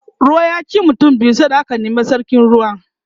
ruwa ya ci mutum biyu sai da aka Nemo sarkin ruwa